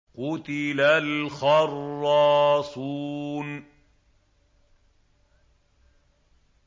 قُتِلَ الْخَرَّاصُونَ